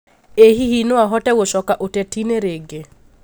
ĩ hihi no ahote gũcoka ũteti-nĩ rĩngĩ?